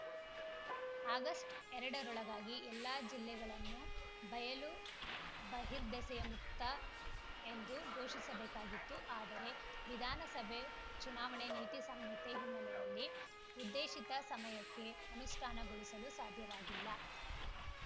August ಎರಡರೊಳಗಾಗಿ ಎಲ್ಲಾ ಜಿಲ್ಲೆಗಳನ್ನೂ ಬಯಲು ಬಹಿರ್ದೆಸೆಯ ಮುಕ್ತ ಎಂದು ಘೋಷಿಸಬೇಕಾಗಿತ್ತು ಆದರೆ ವಿಧಾನಸಭೆ ಚುನಾವಣೆ ನೀತಿ ಸಂಹಿತೆ ಹಿನ್ನೆಲೆಯಲ್ಲಿ ಉದ್ದೇಶಿತ ಸಮಯಕ್ಕೆ ಅನುಷ್ಠಾನಗೊಳಿಸಲು ಸಾಧ್ಯವಾಗಿಲ್ಲ